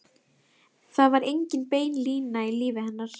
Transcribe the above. Það var engin bein lína í lífi hennar.